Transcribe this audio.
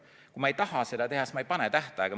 Kui ma ei taha seda teha, siis ma ei pane tähtaega.